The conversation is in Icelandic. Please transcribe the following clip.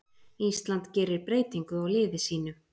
Ísland gerir breytingu á liði sínu